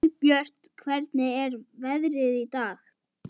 Og kannski yrði þetta í síðasta sinn.